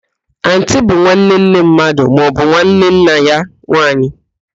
Antii bụ nwanne nne mmadụ maọbụ nwanne nna ya nwaanyị